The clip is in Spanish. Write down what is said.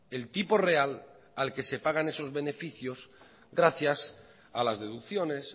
el tipo real al que se pagan esos beneficios gracias a las deducciones